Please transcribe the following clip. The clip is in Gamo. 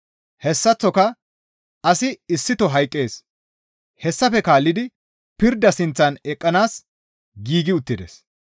Hessaththoka asi issito hayqqees; hessafe kaallidi pirda sinththan eqqanaas giigi uttides.